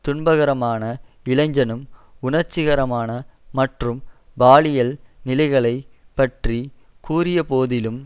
துன்பகரமான இளைஞனும் உணர்ச்சிகரமான மற்றும் பாலியல் நிலைகளைப் பற்றி கூறியபோதிலும்